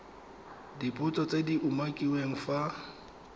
dipotso tse di umakiliweng fa